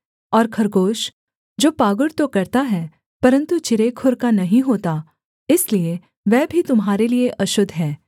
और खरगोश जो पागुर तो करता है परन्तु चिरे खुर का नहीं होता इसलिए वह भी तुम्हारे लिये अशुद्ध है